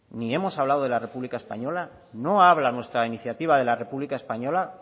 ni hemos hablado de la república española no habla nuestra iniciativa de la república española